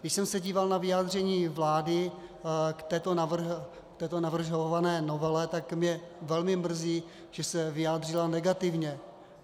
Když jsem se díval na vyjádření vlády k této navrhované novele, tak mě velmi mrzí, že se vyjádřila negativně.